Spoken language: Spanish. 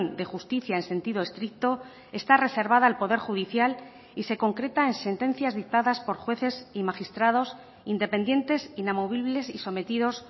de justicia en sentido estricto está reservada al poder judicial y se concreta en sentencias dictadas por jueces y magistrados independientes inamovibles y sometidos